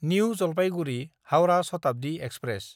new जालपायगुरि–हाउरा Shatabdi express